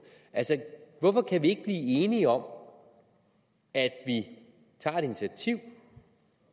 hvorfor kan vi ikke blive enige om at vi tager et initiativ